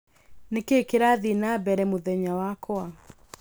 nĩ kĩĩ kĩrathiĩ na mbere mũthenya wakwa